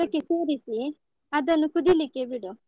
ಅದಕ್ಕೆ ಸೇರಿಸಿ, ಅದನ್ನು ಕುದಿಲಿಕ್ಕೆ ಬಿಡು.